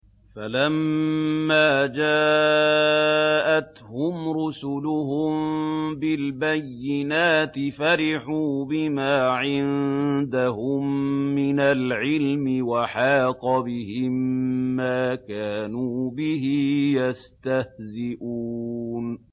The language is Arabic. فَلَمَّا جَاءَتْهُمْ رُسُلُهُم بِالْبَيِّنَاتِ فَرِحُوا بِمَا عِندَهُم مِّنَ الْعِلْمِ وَحَاقَ بِهِم مَّا كَانُوا بِهِ يَسْتَهْزِئُونَ